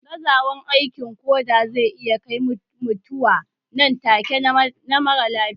Gazawan aikin koda zai iya kai mutuwa nan take na marar lafiya